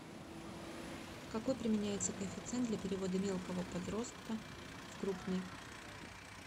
какой применяется коэффициент для перевода мелкого подроста в крупный